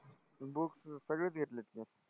books सगळेच घेतलेत ना.